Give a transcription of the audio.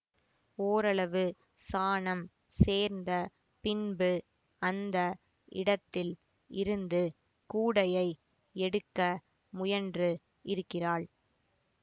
ஓரளவு சானம் சேர்ந்த பின்பு அந்த இடத்தில் இருந்து கூடையை எடுக்க முயன்று இருக்கிறாள்